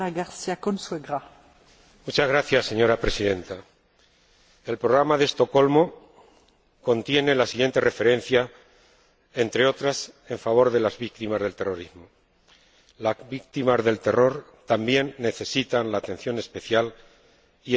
Señora Presidenta, el Programa de Estocolmo contiene la siguiente referencia, entre otras, a favor de las víctimas del terrorismo las víctimas del terror también necesitan la atención especial y el apoyo y el reconocimiento social. A mi juicio,